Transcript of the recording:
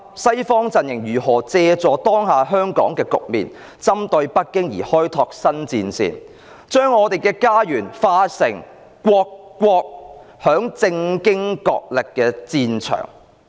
西方陣營如何借助當下香港的局面，針對北京而開拓新戰線，將我們的家園變成為各國在政經角力的戰場？